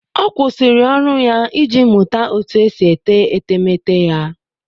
Ọ kwụsịrị ọrụ ya iji mụta otú e si ete etemeete ya